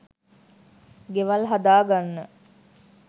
ගෙවල් හදා ගන්න